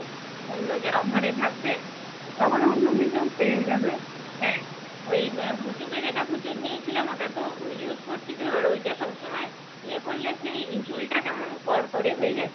হ্যাঁ ওই পুচুকে যেটা প্রচুর নিয়েছিলাম ওটা তো use করছি তো ওটা তো সবসময়ই ইয়ে করলে সেই চুলটা কেমন খর করে হয়ে যাচ্ছে